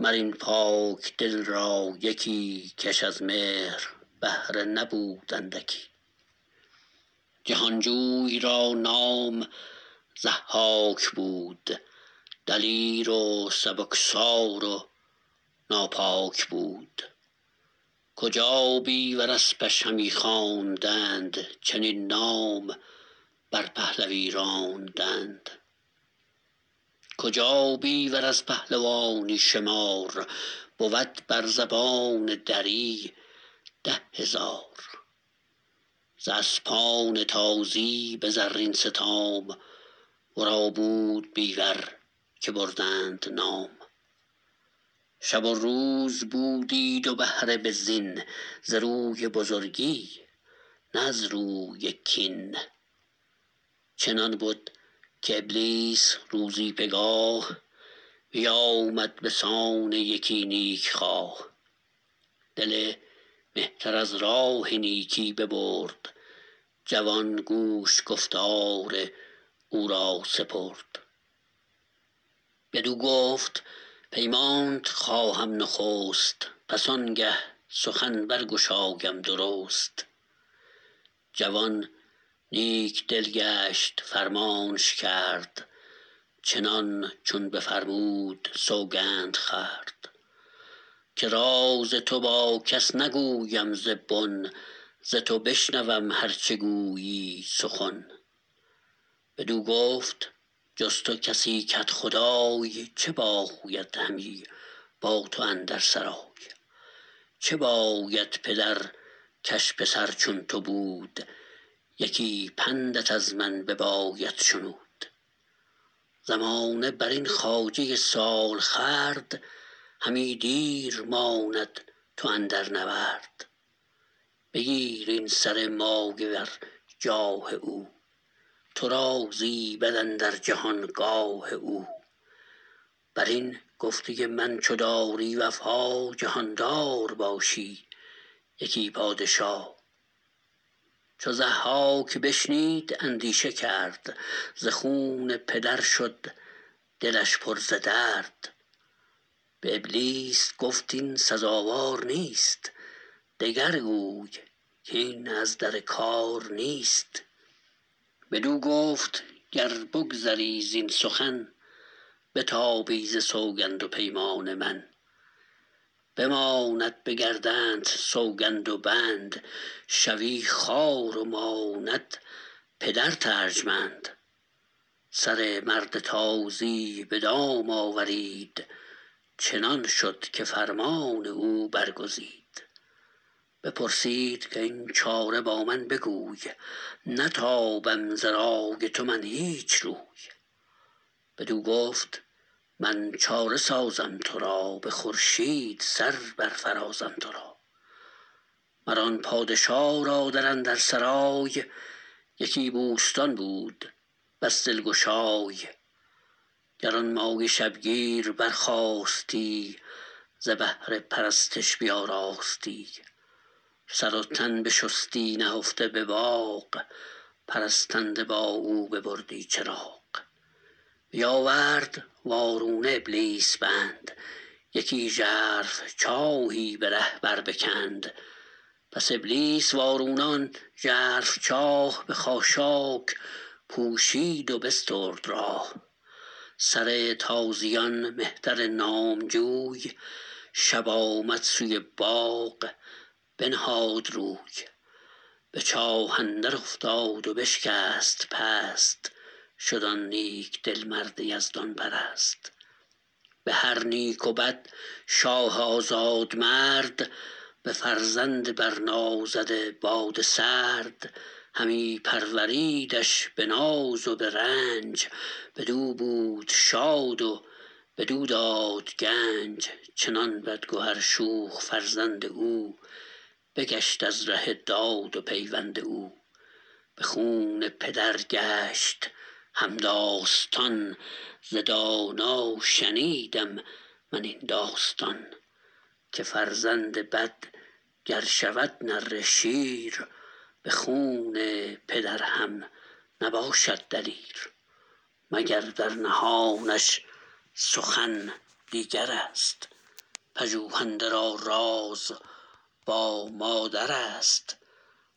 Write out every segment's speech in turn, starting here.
مر این پاکدل را یکی کش از مهر بهره نبود اندکی جهانجوی را نام ضحاک بود دلیر و سبکسار و ناپاک بود کجا بیور اسپش همی خواندند چنین نام بر پهلوی راندند کجا بیور از پهلوانی شمار بود بر زبان دری ده هزار ز اسپان تازی به زرین ستام ورا بود بیور که بردند نام شب و روز بودی دو بهره به زین ز روی بزرگی نه از روی کین چنان بد که ابلیس روزی پگاه بیامد به سان یکی نیک خواه دل مهتر از راه نیکی ببرد جوان گوش گفتار او را سپرد بدو گفت پیمانت خواهم نخست پس آنگه سخن برگشایم درست جوان نیک دل گشت فرمانش کرد چنان چون بفرمود سوگند خورد که راز تو با کس نگویم ز بن ز تو بشنوم هر چه گویی سخن بدو گفت جز تو کسی کدخدای چه باید همی با تو اندر سرای چه باید پدر کش پسر چون تو بود یکی پندت از من بباید شنود زمانه برین خواجه سالخورد همی دیر ماند تو اندر نورد بگیر این سر مایه ور جاه او تو را زیبد اندر جهان گاه او بر این گفته من چو داری وفا جهاندار باشی یکی پادشا چو ضحاک بشنید اندیشه کرد ز خون پدر شد دلش پر ز درد به ابلیس گفت این سزاوار نیست دگر گوی کاین از در کار نیست بدو گفت گر بگذری زین سخن بتابی ز سوگند و پیمان من بماند به گردنت سوگند و بند شوی خوار و ماند پدرت ارجمند سر مرد تازی به دام آورید چنان شد که فرمان او برگزید بپرسید کاین چاره با من بگوی نتابم ز رای تو من هیچ روی بدو گفت من چاره سازم ترا به خورشید سر برفرازم ترا مر آن پادشا را در اندر سرای یکی بوستان بود بس دلگشای گرانمایه شبگیر برخاستی ز بهر پرستش بیاراستی سر و تن بشستی نهفته به باغ پرستنده با او ببردی چراغ بیاورد وارونه ابلیس بند یکی ژرف چاهی به ره بر بکند پس ابلیس وارونه آن ژرف چاه به خاشاک پوشید و بسترد راه سر تازیان مهتر نامجوی شب آمد سوی باغ بنهاد روی به چاه اندر افتاد و بشکست پست شد آن نیک دل مرد یزدان پرست به هر نیک و بد شاه آزاد مرد به فرزند بر نازده باد سرد همی پروریدش به ناز و به رنج بدو بود شاد و بدو داد گنج چنان بدگهر شوخ فرزند او بگشت از ره داد و پیوند او به خون پدر گشت همداستان ز دانا شنیدم من این داستان که فرزند بد گر شود نره شیر به خون پدر هم نباشد دلیر مگر در نهانش سخن دیگرست پژوهنده را راز با مادرست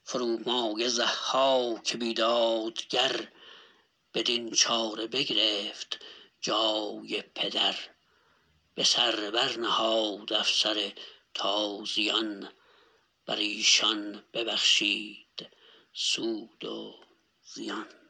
فرومایه ضحاک بیدادگر بدین چاره بگرفت جای پدر به سر بر نهاد افسر تازیان بر ایشان ببخشید سود و زیان